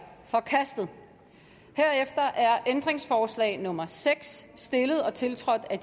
forkastet herefter er ændringsforslag nummer seks stillet og tiltrådt af